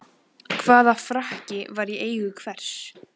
Hvaða frakki var í eigu hvers?